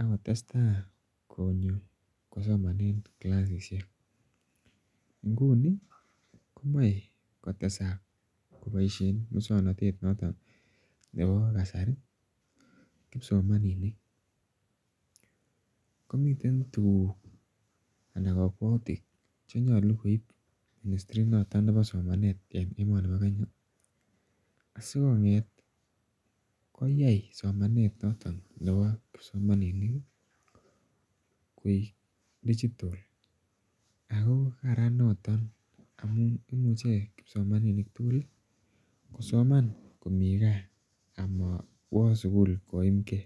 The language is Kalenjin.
akotesetai konyo kosomanen kilasisiek, nguni komae kotesat kobaisien musuaknotet noton nebo kasari ih , kipsomaninik. Komi tuguk anan kabuatutik chenyalu koi ministry noton nebo somanet en Kenya, sikong'et koyai somanet noton nebo kipsomaninik koek digital ako kararan noton amuun kipsomaninik tugul ih , kosoman ko mi ga ama WA sugul koimke